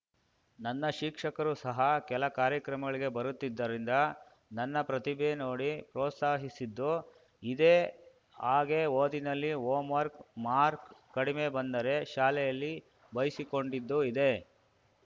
ನನ್ನ ಶಿಕ್ಷಕರು ಸಹ ಕೆಲ ಕಾರ್ಯಕ್ರಮಗಳಿಗೆ ಬರುತ್ತಿದ್ದರಿಂದ ನನ್ನ ಪ್ರತಿಭೆ ನೋಡಿ ಪ್ರೋತ್ಸಾಹಿದ್ದು ಇದೇ ಹಾಗೆ ಓದಿನಲ್ಲಿ ಹೋಮ್‌ ವರ್ಕ್ ಮಾರ್ಕ್ ಕಡಿಮೆ ಬಂದರೆ ಶಾಲೆಯಲ್ಲಿ ಬೈಸಿಕೊಂಡಿದ್ದು ಇದೆ